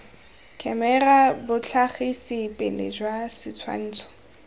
khemera botlhagisi pele jwa setshwantsho